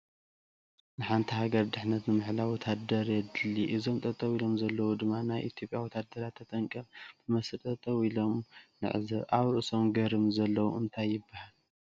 ንሓንቲ ሃገር ድሕንነታ ንምሕላው ወታደረ የድሊያ እዞም ጠጠው ኢሎም ዘለው ድማ ናይ ኢትዮጲያ ወታደራት ብተጠንቀቀ ብመስርዕ ጠጠው ኢሎም ንዕዘብ ።አብ ርእሱም ገርምዎ ዘለው እንታይ ይበሃል?